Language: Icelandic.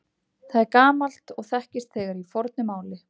Það er gamalt og þekkist þegar í fornu máli.